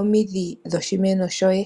omidhi dhoshimeno shoye.